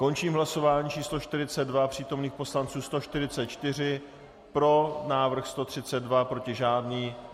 Končím hlasování číslo 42. Přítomných poslanců 144, pro návrh 132, proti žádný.